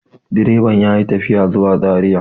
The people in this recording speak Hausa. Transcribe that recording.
direban ya yi tafiya zuwa zariya